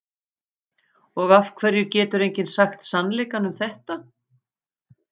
Og af hverju getur enginn sagt sannleikann um þetta?